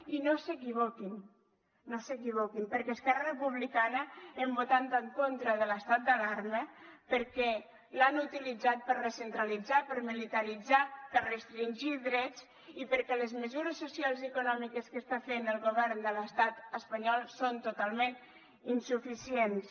i no s’equivoquin no s’equivoquin perquè a esquerra republicana hem votat en contra de l’estat d’alarma perquè l’han utilitzat per recentralitzar per militaritzar per restringir drets i perquè les mesures socials i econòmiques que està fent el govern de l’estat espanyol són totalment insuficients